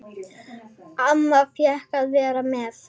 Amma fékk að fara með.